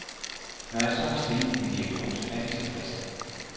Når jeg så har stillet en diagnose, er de tilfredse.